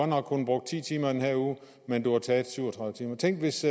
nok kun brugt ti timer i den her uge men du har taget syv og tredive timer tænk hvis